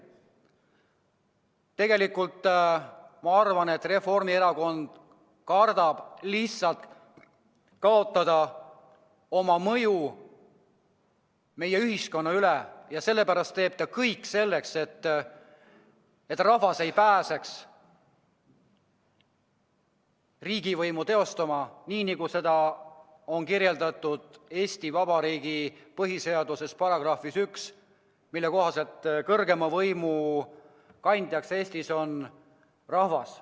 Tegelikult ma arvan, et Reformierakond kardab lihtsalt kaotada oma mõju meie ühiskonnas ja sellepärast teeb kõik selleks, et rahvas ei pääseks riigivõimu teostama nii, nagu on kirjas Eesti Vabariigi põhiseaduse §-s 1, mille kohaselt kõrgeima riigivõimu kandja Eestis on rahvas.